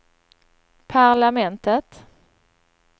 parlamentet